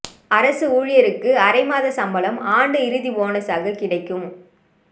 அரசு ஊழியருக்கு அரை மாதச் சம்பளம் ஆண்டு இறுதி போனசாக கிடைக்கும்